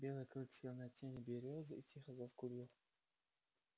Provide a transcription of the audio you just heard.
белый клык сел на тень берёзы и тихо заскулил